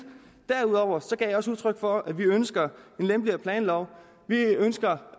derudover gav jeg også udtryk for at vi ønsker en lempeligere planlov vi ønsker